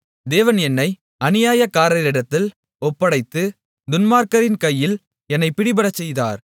தேவன் என்னை அநியாயக்காரரிடத்தில் ஒப்படைத்து துன்மார்க்கரின் கையில் என்னை பிடிபடச் செய்தார்